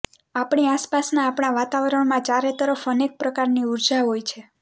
આપણી આસપાસના આપણા વાતાવરણમાં ચારે તરફ અનેક પ્રકારની ઊર્જા હોય છે